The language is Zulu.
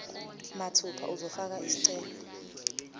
mathupha uzofaka isicelo